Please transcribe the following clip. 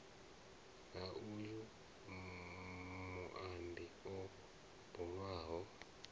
ha uyo muambi o bulwaho